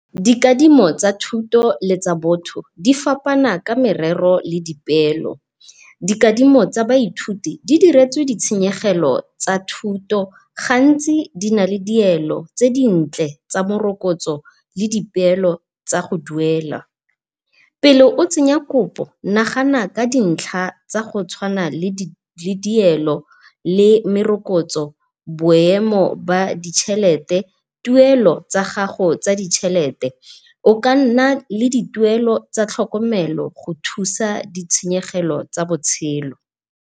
Dikadimo tsa thuto le tsa botho di fapana ka merero le dipeelo. Dikadimo tsa baithuti di diretswe di tshenyegelo tsa thuto, gantsi di na le dielo tse dintle tsa morokotso le dipeelo tsa go duela. Pele o tsenya kopo nagana ka dintlha tsa go tshwana le dielo le merokotso, boemo ba ditjelete, tuelo tsa gago tsa ditjelete, o kanna le dituelo tsa tlhokomelo go thusa di tsheyegelo tsa botshelo.